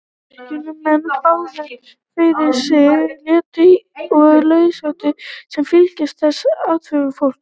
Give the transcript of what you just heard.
Kirkjunnar menn báru fyrir sig léttúð og lauslæti sem fylgdi þessum athöfnum fólks.